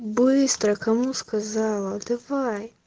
быстро кому сказала давай